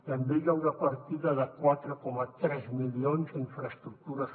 també hi ha una partida de quatre coma tres milions a infraestructures